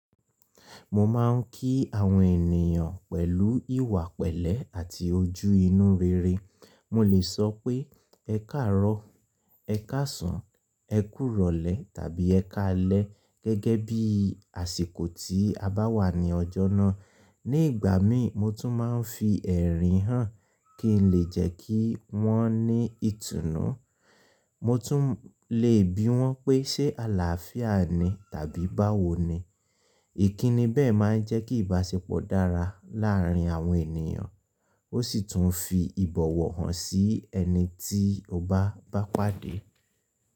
Mo máà ń kí àwọn ènìyàn pẹ̀lú ìwà pẹ̀lẹ́ àti ojú inú rere. Mo lè sọ pé “ẹ káàárọ̀”, “ẹ káàsán”, “ẹ kú rọ̀lẹ́” tàbí “ẹ káalẹ́” gẹ́gẹ́ bí àsìkò tí a bá wà ní ọjọ́ náà. Ní ìgbà mí mo tún máa ń fi ẹ̀rín hàn kí n lè jẹ́ kí wọ́n ní ìtùnú. Mo tún lè bi wọ́n pé “ṣé àlàáfíà ni?” tàbí “báwo ni?”. Ìkíni bẹ́ẹ̀ máa ń jẹ́ kí ìbáṣepọ̀ dára láàárín àwọn ènìyàn ó sì tún fi ìbọ̀wọ̀ hàn sí ẹni tí o bá ba pàdé.